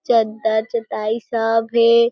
चद्दर चटाई सब हे।